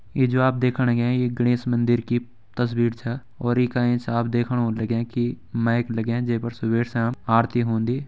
ये जो आप देखण लग्यां ये गणेश मंदिर की तस्वीर छ और यी का एंच आप देखण होण लग्यां कि माइक लग्यां जै पर सुबह शाम आरती होंदी।